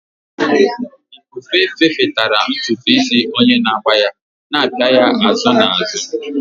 Ifufe fefetara ntutu isi onye na-agba ya, na-apịa ya azụ na azụ.